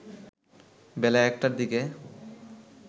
বেলা ১টার দিকে